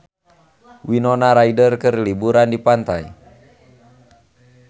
Winona Ryder keur liburan di pantai